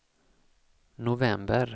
november